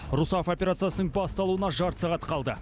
русафа операциясының басталуына жарты сағат қалды